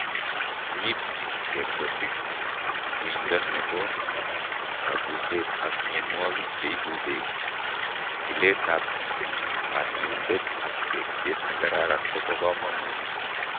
Riib eng kerebesik, uindo nebo kabuset ak mienwokik cheibu beek . Jikiletab konyoindet ak tekset nekararan kobo komonut